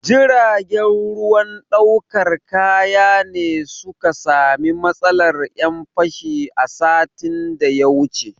Jiragen ruwan ɗaukar kaya ne su ka sami matsalar 'yan fashi a satin da ya wuce.